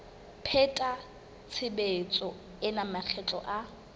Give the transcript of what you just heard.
pheta tshebetso ena makgetlo a